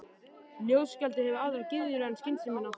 Ljóðskáldið hefur aðrar gyðjur en skynsemina.